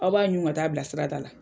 Aw b'a ɲun ka taa a bila sirada la.